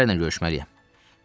Bir nəfərlə görüşməliyəm.